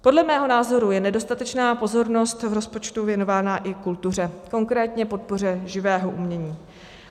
Podle mého názoru je nedostatečná pozornost v rozpočtu věnována i kultuře, konkrétně podpoře živého umění.